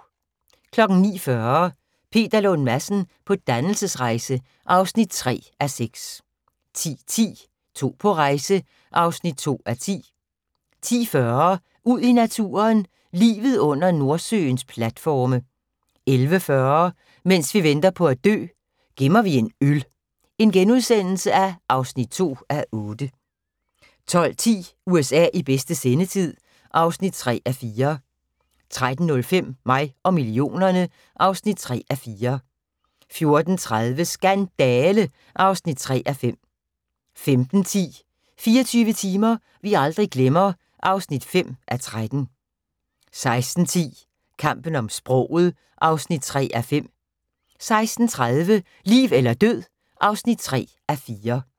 09:40: Peter Lund Madsen på dannelsesrejse (3:6) 10:10: To på rejse (2:10) 10:40: Ud i naturen: Livet under Nordsøens platforme 11:40: Mens vi venter på at dø - gemmer vi en øl (2:8)* 12:10: USA i bedste sendetid (3:4) 13:05: Mig og millionerne (3:4) 14:30: Skandale! (3:5) 15:10: 24 timer vi aldrig glemmer (5:13) 16:10: Kampen om sproget (3:5) 16:30: Liv eller død (3:4)